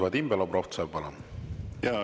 Vadim Belobrovtsev, palun!